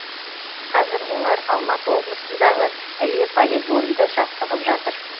қазір олар алматы облысындағы іле полигонында жаттығып жатыр